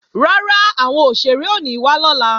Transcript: Rárá, àwọn òṣèré ò ní wá lọ́la